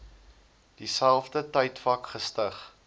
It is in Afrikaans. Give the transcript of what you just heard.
dieselfde tydvak gestig